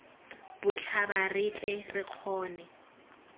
botlhaba re tle re kgone